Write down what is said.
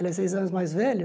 Ele é seis anos mais velho.